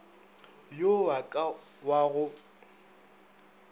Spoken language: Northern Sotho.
yo wa ka wa go